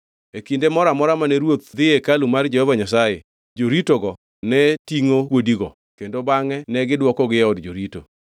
E kinde moro amora mane ruoth dhi e hekalu mar Jehova Nyasaye, joritogo ne tingʼo kuodigo kendo bangʼe negidwokogi e od jorito.